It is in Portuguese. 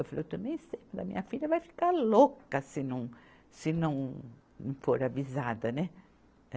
Eu falei, eu também sei, mas a minha filha vai ficar louca se não, se não for avisada, né?